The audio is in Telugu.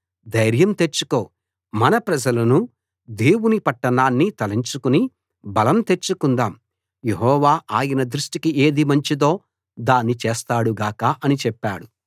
ధైర్యం తెచ్చుకో మన ప్రజలనూ దేవుని పట్టణాన్నీ తలంచుకుని బలం తెచ్చుకొందాం యెహోవా ఆయన దృష్టికి ఏది మంచిదో దాన్ని చేస్తాడు గాక అని చెప్పాడు